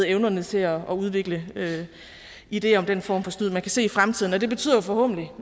evnerne til at udvikle ideer om den form for snyd man vil se i fremtiden det betyder forhåbentlig